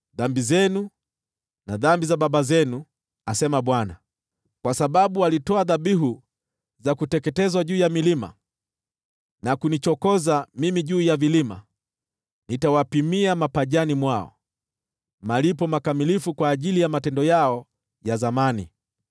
dhambi zenu na dhambi za baba zenu,” asema Bwana . “Kwa sababu walitoa dhabihu za kuteketezwa juu ya milima na kunichokoza mimi juu ya vilima, nitawapimia mapajani mwao malipo makamilifu kwa matendo yao ya zamani.”